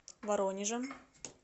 воронежем